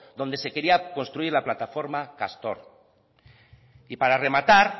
donde se quería construir la plataforma castor y para rematar